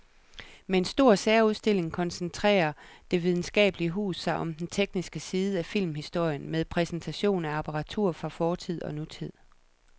Med en stor særudstilling koncentrerer det videnskabelige hus sig om den tekniske side af filmhistorien med præsentation af apparatur fra fortid og nutid.